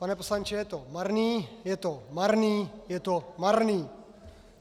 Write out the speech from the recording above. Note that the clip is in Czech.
Pane poslanče, je to marný, je to marný, je to marný.